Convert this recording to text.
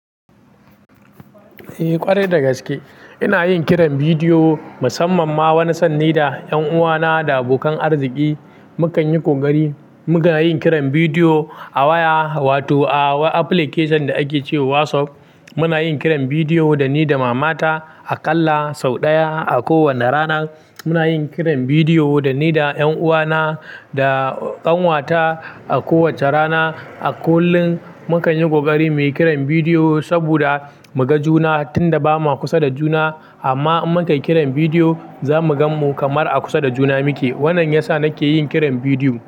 Eh ƙwarai da gaske ina yin kiran bidiyo musamman ma wani san ni da ƴan uwana da abokan arziƙi. Mu kan yi ƙoƙari mu ga yin kiran bidiyo a waya wato a wani application da ake ce wa WhatsApp. Muna yin kiran bidiyo da ni da mamata a ƙalla sau ɗaya a kowanne rana. Muna yin kiran bidiyo da ni da ƴan uwana da ƙanwata a kowacce rana. A kullum mukan yi ƙoƙari mu yi kiran bidiyo saboda mu ga juna tunda bama kusa da juna, amma in mukai kiran bidiyo za mu ganmu kamar a kusa da juna muke. Wannan yasa nake yin kiran bidiyo.